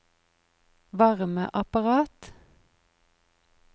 varmeapparat